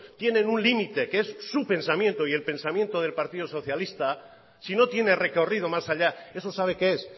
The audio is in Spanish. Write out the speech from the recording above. tienen un límite que es su pensamiento y el pensamiento del partido socialista si no tiene recorrido más allá eso sabe qué es